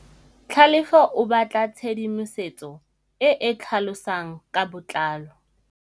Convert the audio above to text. Tlhalefô o batla tshedimosetsô e e tlhalosang ka botlalô.